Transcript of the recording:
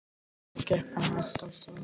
Þá gekk hann hægt af stað.